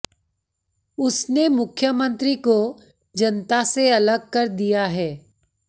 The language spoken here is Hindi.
उसने मुख्यमंत्री को जनता से अलग कर दिया है